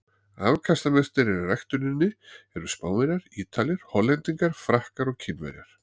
Afkastamestir í ræktuninni eru Spánverjar, Ítalir, Hollendingar, Frakkar og Kínverjar.